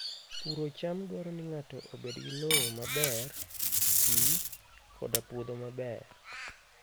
Puro cham dwaro ni ng'ato obed gi lowo maber, pi, koda puodho maber.